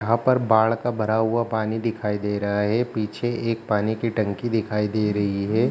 यहाँ पर बाढ़ का भरा हुआ पानी दिखाई दे रहा हे पीछे एक पानी की टंकी दिखाई दे रही हे।